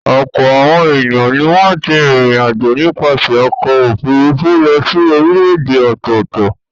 Ọ̀pọ̀ àwọn ènìyàn ni wọ́n ti rìnrìn-àjò nípasẹ̀ ọkọ̀-òfurufú lọ sí orílẹ̀-èdè ọ̀tọ̀ọ̀tọ̀.